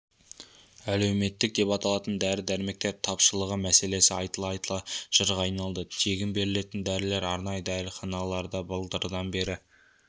әлеуметтік деп аталатын дәрі-дәрмектер тапшылығы мәселесі айтыла-айтыла жырға айналды тегін берілетін дәрілер арнайы дәріханаларда былтырдан бері